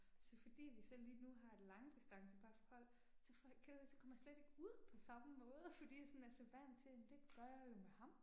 Så fordi vi så lige nu har et langdistanceparforhold, så får, kender du det, så kommer jeg slet ikke ud på samme måde, fordi jeg sådan er så vant til, jamen det gør jeg jo med ham